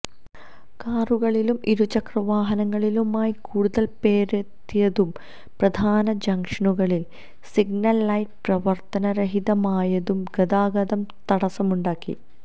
കാറുകളിലും ഇരുചക്രവാഹനങ്ങളിലുമായി കൂടുതല് പേരെത്തിയതും പ്രധാന ജങ്ഷനുകളിലെ സിഗ്നല് ലൈറ്റ് പ്രവര്ത്തന രഹിതമായതും ഗതാഗത തടസവുമുണ്ടാക്കി